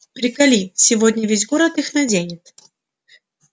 приколи сегодня весь город их наденет